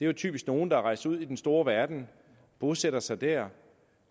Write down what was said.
jo typisk nogle der er rejst ud i den store verden bosætter sig der